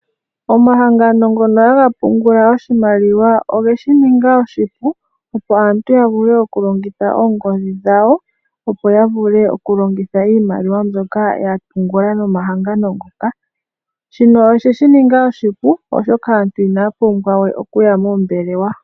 Omahangano ngono haga pungula oshimaliwa ogeshi ninga oshipu, opo aantu ya kale yena oongodhi dhawo opo ya vule oku longitha iimaliwa mbyoka ya pungula nomahangano ngoka, shino oshe shi ninga oshipu oshoka aantu inaya pumbwa we okuya moombelewa.